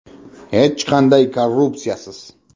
Hech qanday korrupsiyasiz.